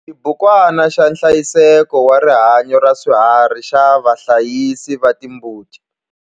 Xibukwana xa nhlayiseko wa rihanyo ra swiharhi xa vahlayisi va timbuti.